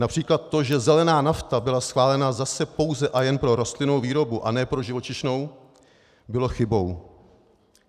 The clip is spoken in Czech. Například to, že zelená nafta byla schválena zase pouze a jen pro rostlinnou výrobu a ne pro živočišnou, bylo chybou.